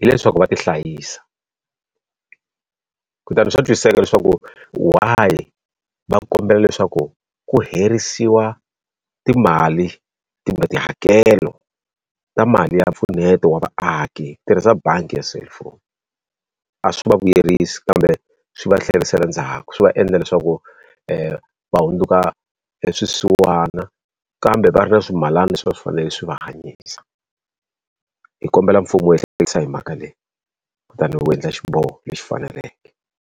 hileswaku va ti hlayisa. Kutani swa twisiseka leswaku why va kombela leswaku ku herisiwa timali tihakelo ta mali ya mpfuneto wa vaaki tirhisa bangi ya cellphone. A swi vuyerisi kambe swi va tlherisela ndzhaku swi va endla leswaku va hundzuka swisiwana, kambe va ri na swimilana leswi a swi fanele swi va hanyisa. Hi kombela mfumo wu hi hi mhaka leyi kutani wu endla xiboho lexi faneleke.